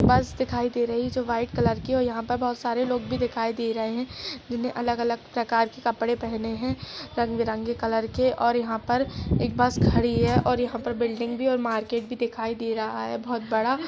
बस दिखाई दे रही है जो व्हाइट कलर की है और यहाँ पर बहोत सारे लोग भी दिखाई दे रहे हैं जिन्हें अलग-अलग प्रकार के कपड़े पहने है रंग-बिरंगे कलर के और यहां पर एक बस खड़ी है और यहां पर बिल्डिंग भी है और मार्केट भी दिखाई दे रहा है। बहोत बड़ा --